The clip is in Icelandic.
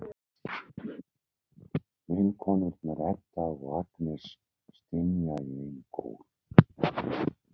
Vinkonurnar, Edda og Agnes, stynja í einum kór.